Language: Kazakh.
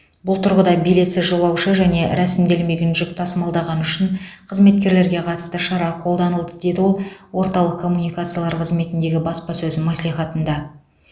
бұл тұрғыда билетсіз жолаушы және рәсімделмеген жүк тасымалдағаны үшін қызметкерлерге қатысты шара қолданылды деді ол орталық коммуникациялар қызметіндегі баспасөз мәслихатында